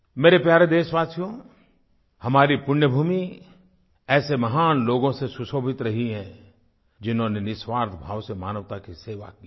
मेरे प्यारे देशवासियो हमारी पुण्य भूमि ऐसे महान लोगों से सुशोभित रही है जिन्होंने निस्वार्थ भाव से मानवता की सेवा की है